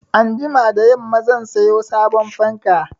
Anjima da yamma zan sayo sabon fanka.